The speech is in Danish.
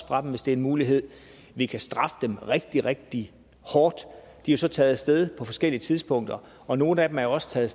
fra dem hvis det er en mulighed vi kan straffe dem rigtig rigtig hårdt de er så taget af sted på forskellige tidspunkter og nogle af dem er også taget